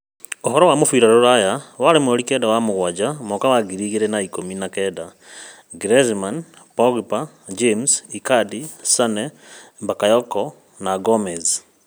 Ũhoro wa mũbira rũraya waĩrĩ mweri kenda wa-mũgwanja Mwaka wa ngiri igĩrĩ na ikũmi na kenda: Griezmann, Pogba, James, icardi, Sane, Bakayoko, Gomez